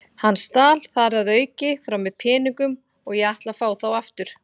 Hann stal þar að auki frá mér peningum og ég ætla að fá þá aftur.